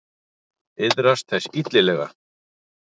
Iðrast þess illilega.